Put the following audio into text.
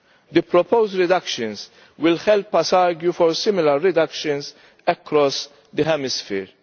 The proposed reductions will help us argue for similar reductions across the hemisphere.